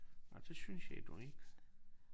Nåh det synes jeg nu ikke